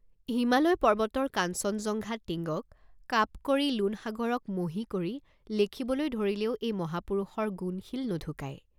হিমালয় পৰ্ব্বতৰ কাঞ্চনজংঘা টিঙ্গক কাপ কৰি লোণসাগৰক মহী কৰি লেখিবলৈ ধৰিলেও এই মহাপুৰুষৰ গুণশীল নুঢুকাই।